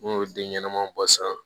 N'u y'o denɲɛnama bɔ san